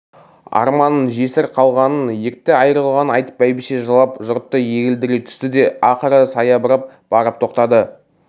арманын жесір қалғанын ерте айрылғанын айтып бәйбіше жылап жұртты егілдіре түсті де ақыры саябырлап барып тоқтады